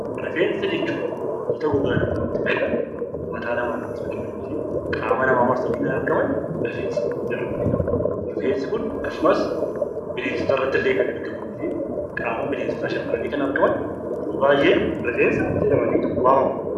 Rifeensa jechuun wanta gogaa namaarratti biqilan mataa namaarratti biqilanii fi qaama namaa marsanii kan argaman rifeensa jedhamanii beekamu. Rifeensi kun akkasumallee bineensota irrattillee kan argamanii fi qaama bineensotaa haguuganii kan argaman yeroo baay'ee rifeensa jedhamanii waamamu.